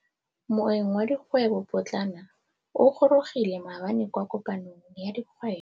Moêng wa dikgwêbô pôtlana o gorogile maabane kwa kopanong ya dikgwêbô.